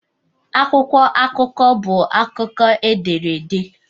Akwụkwọ akụkọ bụ akụkọ e dere ede.